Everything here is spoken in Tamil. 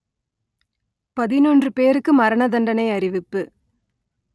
பதினொன்று பேருக்கு மரணதண்டனை அறிவிப்பு